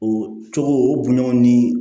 O cogo o bonyaw ni